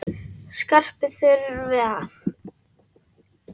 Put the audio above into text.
Skarpi þurfi að.